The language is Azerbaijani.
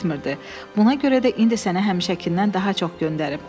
Buna görə də indi sənə həmişəkindən daha çox göndərib.